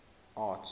arts